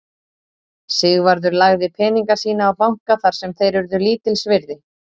Sigvarður lagði peninga sína á banka þar sem þeir urðu lítils virði.